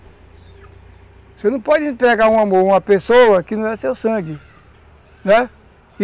Você não pode entregar um amor a uma pessoa que não é seu sangue, né?